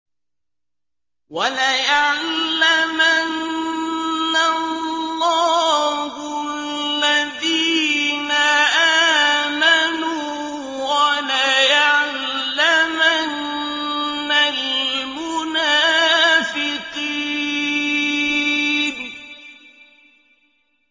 وَلَيَعْلَمَنَّ اللَّهُ الَّذِينَ آمَنُوا وَلَيَعْلَمَنَّ الْمُنَافِقِينَ